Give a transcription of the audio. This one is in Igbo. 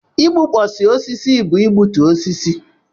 Igbukpọsị osisi bụ igbutu osisi.